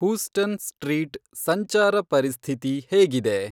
Houston street ಸಂಚಾರ ಪರಿಸ್ಥಿತಿ ಹೇಗಿದೆ